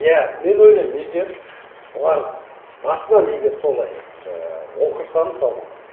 иә мен ойлаймын егер бұлар басынан егер солай жаңағы оқыса мысалы